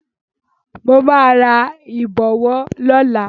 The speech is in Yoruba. Mo máa ra ìbọ̀wọ́ lọ́la.